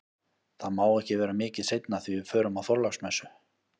Það má ekki vera mikið seinna því við förum á Þorláksmessu